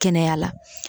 Kɛnɛya la